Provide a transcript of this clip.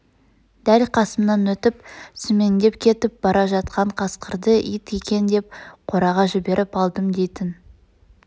дәл қасымнан өтіп сүмеңдеп кетіп бара жатқан қасқырды ит екен деп қораға жіберіп алдым дейтн